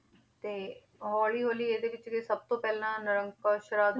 ਤੇ ਹੌਲੀ ਹੌਲੀ ਇਹਦੇ ਵਿੱਚ ਜੋ ਸਭ ਤੋਂ ਪਹਿਲਾਂ